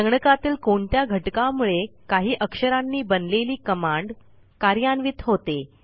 संगणकातील कोणत्या घटकामुळे काही अक्षरांनी बनलेली कमांड कार्यान्वित होते